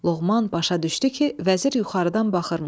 Loğman başa düşdü ki, vəzir yuxarıdan baxırmış.